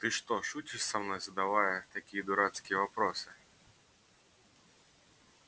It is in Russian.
ты что шутишь со мной задавая такие дурацкие вопросы